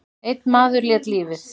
Einn maður lét lífið.